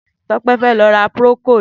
Tope fè lọ̀ rà prókód